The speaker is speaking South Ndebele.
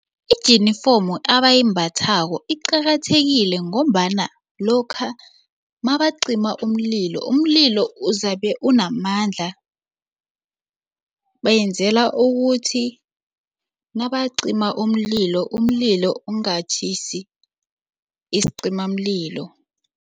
Ijinifomu abayimbathako iqakathekile ngombana lokha mabacima umlilo, umlilo uzabe unamandla bayenzela ukuthi nabacima umlilo umlilo ungatjhisi isicimamlilo.